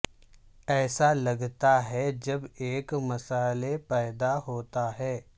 ایسا لگتا ہے جب ایک مسئلہ پیدا ہوتا ہے